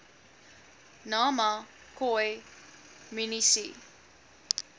nama khoi munisi